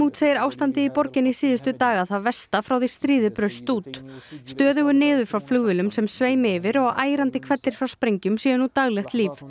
segir ástandið í borginni síðustu daga það versta frá því stríðið braust út stöðugur niður frá flugvélum sem sveimi yfir og ærandi hvellir frá sprengjum séu nú daglegt líf